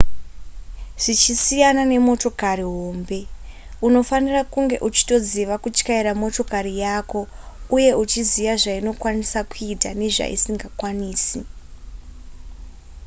zvichisiyana nemotokari hombe unofanira kunge uchitoziva kutyaira motokari yako uye uchiziva zvainokwanisa kuita nezvaisingakwanisi